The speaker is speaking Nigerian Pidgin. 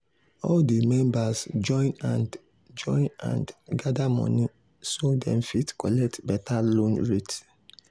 all di members join hand join hand gather money so dem fit collect better loan rate.